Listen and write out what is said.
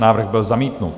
Návrh byl zamítnut.